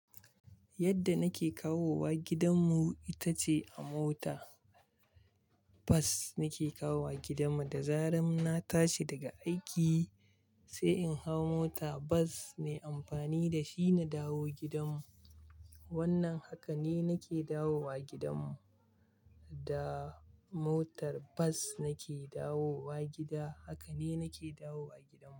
Yadda nake kawowa gidanmu ita ce a motar bus nake kawowa. Da zarar na tashi daga aiki, sai in hau motar bas me amfani da shi na dawo gidan mu. Wannan haka ne nake dawowa gidan mu, da motar bas nake dawowa gida. Haka ne nake dawowa gidanmu.